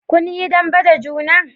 kun yi dambe da juna?